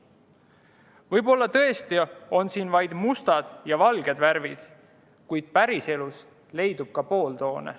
Võib-olla tõesti on siin vaid mustad ja valged värvid, kuid päriselus leidub ka pooltoone.